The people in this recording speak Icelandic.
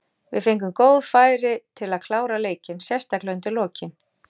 Við fengum góð færi til að klára leikinn, sérstaklega undir lokin.